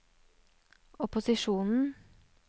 opposisjonen